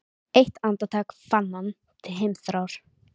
Eitt andartak fann hann til heimþrár.